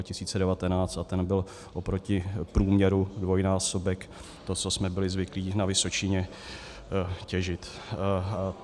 A ten byl oproti průměru dvojnásobek toho, co jsme byli zvyklí na Vysočině těžit.